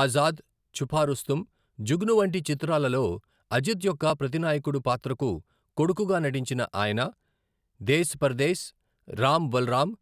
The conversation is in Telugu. ఆజాద్, ఛుపా రుస్తుం, జుగ్ను వంటి చిత్రాలలో అజిత్ యొక్క ప్రతినాయకుడు పాత్రకు కొడుకుగా నటించిన ఆయన, దేస్ పర్దేస్, రామ్ బలరామ్,